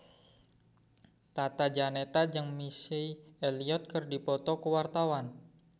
Tata Janeta jeung Missy Elliott keur dipoto ku wartawan